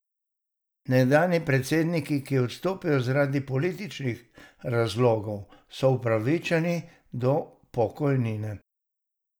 Nekdanji predsedniki, ki odstopijo zaradi političnih razlogov, so upravičeni do pokojnine.